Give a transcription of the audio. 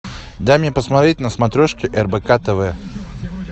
дай мне посмотреть на смотрешке рбк тв